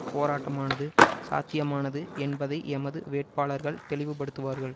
போராட்டமானது சாத்தியமானது என்பதை எமது வேட்பாளர்கள் தெளிவுபடுத்துவார்கள்